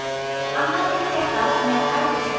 Annað innréttað með herbergjum.